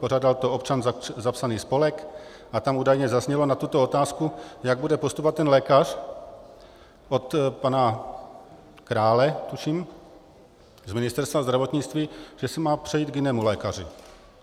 Pořádal to Občan, zapsaný spolek, a tam údajně zaznělo na tuto otázku, jak bude postupovat ten lékař, od pana Krále, tuším, z Ministerstva zdravotnictví, že se má přejít k jinému lékaři.